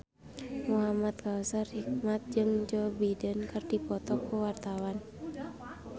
Muhamad Kautsar Hikmat jeung Joe Biden keur dipoto ku wartawan